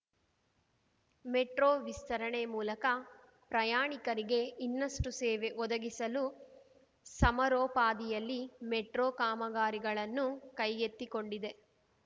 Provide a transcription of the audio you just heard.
metro ವಿಸ್ತರಣೆ ಮೂಲಕ ಪ್ರಯಾಣಿಕರಿಗೆ ಇನ್ನಷ್ಟು ಸೇವೆ ಒದಗಿಸಲು ಸಮರೋಪಾದಿಯಲ್ಲಿ ಮೆಟ್ರೋ ಕಾಮಗಾರಿಗಳನ್ನು ಕೈಗೆತ್ತಿಕೊಂಡಿದೆ